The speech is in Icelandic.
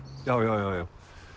já já já